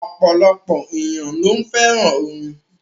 Ọ̀pọ̀lọpọ̀ ènìyàn ló fẹ́ràn orin.